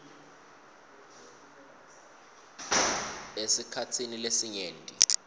esikhatsini lesinyenti